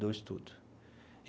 Do estudo.